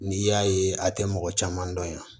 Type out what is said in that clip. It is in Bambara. N'i y'a ye a tɛ mɔgɔ caman dɔn yan